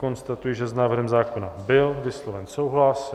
Konstatuji, že s návrhem zákona byl vysloven souhlas.